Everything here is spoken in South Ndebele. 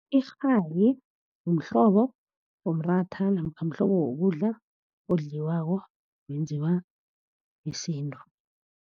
Irhayi mhlobo womratha, namkha mhlobo wokudla odliwako, wenziwa ngesintu.